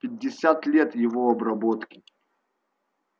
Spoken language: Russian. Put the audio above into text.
пятьдесят лет его обработки